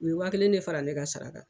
U ye walen de fara ne ka sarakan.